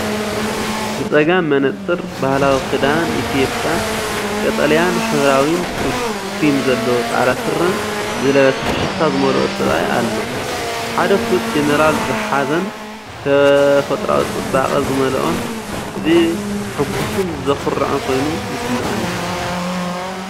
ብጸጋም መነጽር፣ ባህላዊ ክዳን ኢትዮጵያ (ቀጠልያን ሕብራዊን ትሪም ዘለዎ ጻዕዳ ስረ) ዝለበሰ ፍሽኽታ ዝመልኦ ሰብኣይ ኣሎ። ሓደ ፍሉጥ ጀነራል ዝሓዘን ተፈጥሮኣዊ ጽባቐ ዝመልአን ፣ እዚ ሕጉስን ዘኹርዕን ኮይኑ ይስምዓኒ።